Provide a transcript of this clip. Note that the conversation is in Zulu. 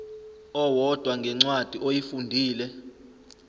owodwa ngencwadi oyifundile